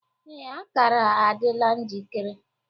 Ee, akara adịla njikere.